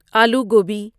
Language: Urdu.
آلو گوبی